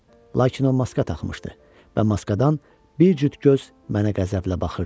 Lakin o maska taxmışdı və maskadan bir cüt göz mənə qəzəblə baxırdı.